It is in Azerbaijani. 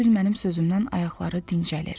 Elə bil mənim sözümdən ayaqları dincəlir.